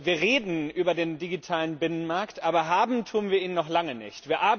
Wir reden über den digitalen Binnenmarkt, aber haben tun wir ihn noch lange nicht.